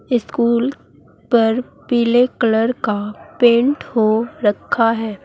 School पर पीले colour का पेंट हो रखा है।